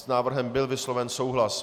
S návrhem byl vysloven souhlas.